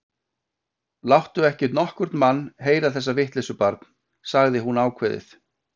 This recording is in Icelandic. Láttu ekki nokkurn mann heyra þessa vitleysu, barn sagði hún ákveðin.